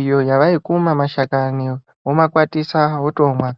iyo yavaikuma mashakani vomakwatisa votomwa.